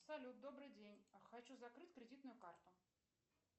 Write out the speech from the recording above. салют добрый день хочу закрыть кредитную карту